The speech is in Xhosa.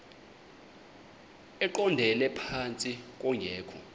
eqondele phantsi kungekho